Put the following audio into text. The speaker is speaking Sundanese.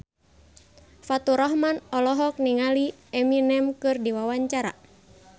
Faturrahman olohok ningali Eminem keur diwawancara